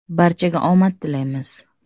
Barchaga omad tilaymiz!